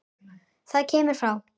Það kemur frá